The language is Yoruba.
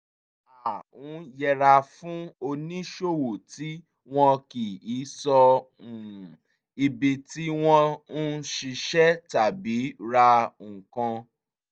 a ń yẹra fún oníṣòwò tí wọn kì í sọ um ibi tí wọ́n ń ṣiṣẹ́ tàbí ra nǹkan